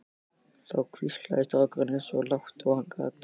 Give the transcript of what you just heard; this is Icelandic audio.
Þá hvíslaði strákurinn eins og lágt og hann gat